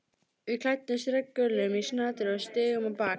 Við klæddumst regngöllum í snatri og stigum á bak.